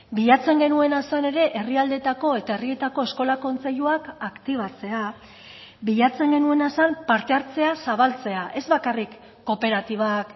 bilatzen genuena zen ere herrialdeetako eta herrietako eskola kontseiluak aktibatzea bilatzen genuena zen parte hartzea zabaltzea ez bakarrik kooperatibak